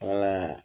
Wala